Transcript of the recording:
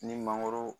Ni mangoro